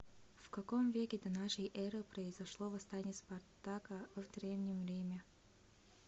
в каком веке до нашей эры произошло восстание спартака в древнем риме